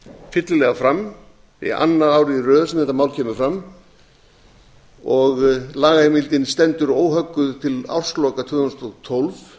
fyllilega fram annað árið í röð sem þetta mál kemur fram og lagaheimildin stendur óhögguð fram til ársins tvö þúsund og tólf